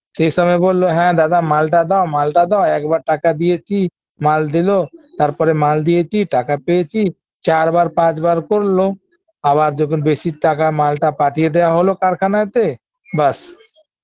সেই সময় বললো হ্যাঁ দাদা মালটা দাও মালটা দাও একবার টাকা দিয়েছি মাল দিল তারপর মাল দিয়েছি টাকা পেয়েছি চারবার পাঁচবার করলো আবার যখন বেশি টাকার মালটা পাঠিয়ে দেওয়া হল কারখানাতে ব্যাস